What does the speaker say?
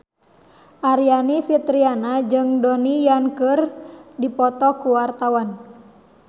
Aryani Fitriana jeung Donnie Yan keur dipoto ku wartawan